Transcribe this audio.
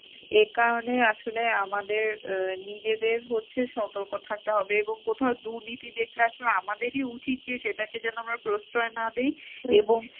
এ কারণেই আসলে আমাদের নিজেদের হচ্ছে সতর্ক থাকতে হবে এবং কোথাও দুর্নীতি দেখলে আসলে আমাদেরই উচিত যে সেটাকে যেন আমরা প্রশ্রয় না দিই এবং